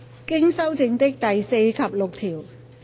經修正的第4及6條。